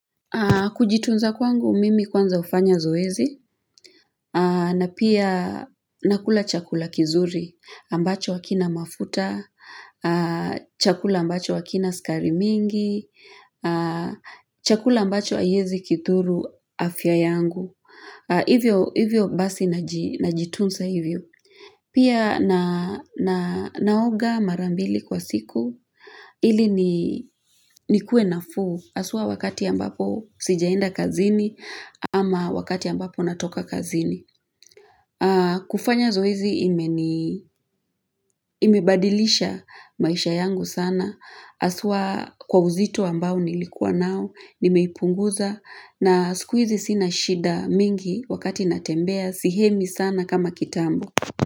Kujitunza kwangu mimi kwanza ufanya zoezi na pia nakula chakula kizuri ambacho akina mafuta, chakula ambacho wakina sukarimingi, chakula ambacho ayezi kidhuru afya yangu. Hivyo basi na jitunsa hivyo. Pia na naoga marambili kwa siku. Hili ni nikuwe nafu. Aswa wakati ambapo sijaenda kazini ama wakati ambapo natoka kazini. Kufanya zoezi ime badilisha maisha yangu sana Aswa kwa uzito ambao nilikuwa nao Nimeipunguza na sikuizi sina shida mingi wakati natembea Sihemi sana kama kitambo.